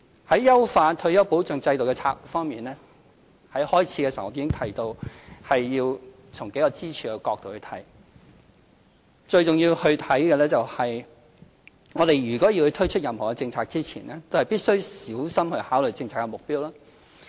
在優化退休保障制度的策略方面，在開場發言時我已提到，要從數個支柱的角度來看，最重要是，我們如果要推出任何政策前，都必須小心考慮政策目標。